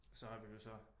Så har vi jo så